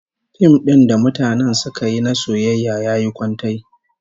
Fim din da mutanen suka yi na soyayya yayi kwantai